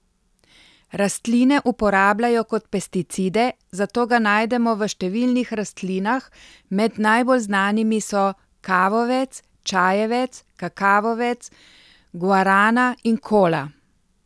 Rastline uporabljajo kot pesticide, zato ga najdemo v številnih rastlinah, med najbolj znanimi so kavovec, čajevec, kakavovec, guarana in kola.